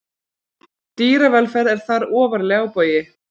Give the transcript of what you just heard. Dýravelferð er þar ofarlega á baugi.